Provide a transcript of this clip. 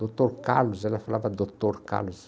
Doutor Carlos, ela falava Doutor Carlos.